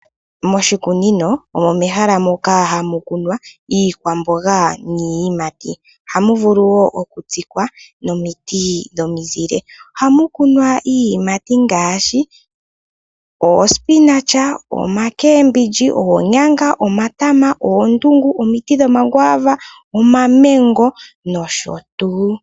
Moshikunino omo mehala moka hamu kunwa iikwamboga niiyimati, hamu vulu wo okutsikwa nomiti dhomizile. Ohamu kunwa iiyimati ngaashi oomboga, omakembindji, oonyanga, omatama, oondungu, omiti dhomakwava, omamango nosho tuu.